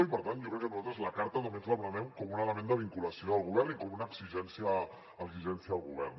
i per tant jo crec que nosaltres la carta també ens la prenem com un element de vinculació del govern i com una exigència al govern